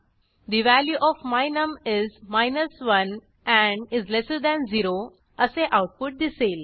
the value of my num is 1 and is lesser than 0 output असे दिसेल